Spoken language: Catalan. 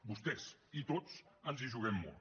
vostès i tots ens hi juguem molt